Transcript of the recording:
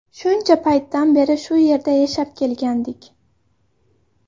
Shuncha paytdan beri shu yerda yashab kelgandik.